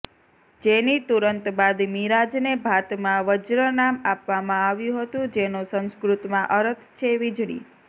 જેની તુરંત બાદ મિરાજને ભાતમાં વજ્ર નામ આપવામાં આવ્યું હતું જેનો સંસ્કૃતમાં અરથ છે વિજળી